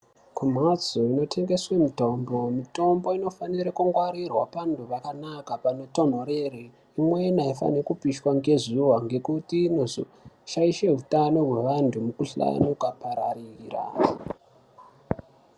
Kumhatso inotengeswe mitombo, mitombo inofana kungwarirwa zvakanaka panotonhorera. Imweni aifani kupishwa ngezuwa ngekuti inozoshaisha utano hwevanhu mukhuhlane wakapararira.